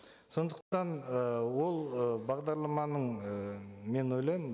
сондықтан ы ол ы бағдарламаның і мен ойлаймын